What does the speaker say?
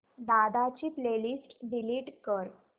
दादा ची playlist delete कर